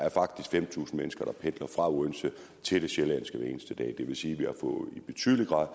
er fem tusind mennesker der pendler fra odense til sjælland hver eneste dag det vil sige at vi i betydelig grad